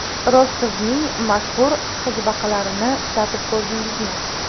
Rostovning mashhur qisqichbaqalarini tatib ko‘rdingizmi?